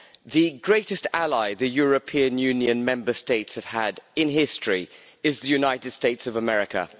The greatest ally the European Union Member States have had in history is the United States of America.